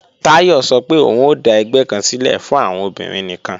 Táyọ̀ sọ pé òun ó dà ẹgbẹ́ kan sílẹ̀ fún àwọn obìnrin nìkan